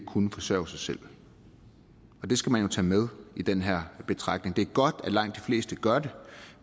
kunne forsørge sig selv det skal man jo tage med i den her betragtning det er godt at langt de fleste gør det